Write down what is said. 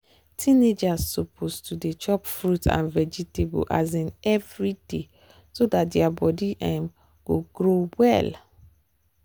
teenagers suppose to dey chop fruit and vegetables um every day so dat their body um go grow well.